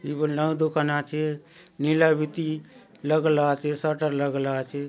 इ बले नाऊ दुकान आचे नीला बीती लगला आचे सटर लगला आचे।